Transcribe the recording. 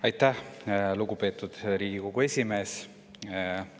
Aitäh, lugupeetud Riigikogu esimees!